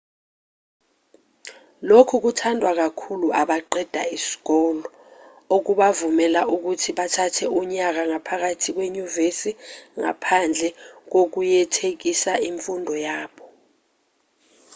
lokhu kuthandwa kakhulu abaqeda isikole okubavumela ukuthi bathathe unyaka ngaphambi kwenyuvesi ngaphandle kokuyekethisa imfundo yabo